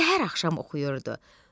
Səhər axşam oxuyurdu.